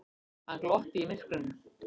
Hann glotti í myrkrinu.